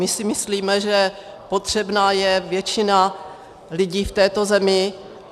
My si myslíme, že potřebná je většina lidí v této zemi.